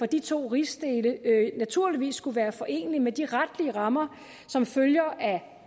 de to rigsdele naturligvis skulle være forenelige med de retlige rammer som følger af